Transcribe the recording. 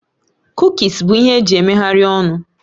Kukis bụ ihe eji emeghari ọnụ